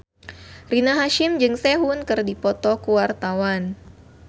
Rina Hasyim jeung Sehun keur dipoto ku wartawan